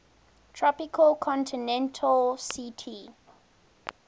tropical continental ct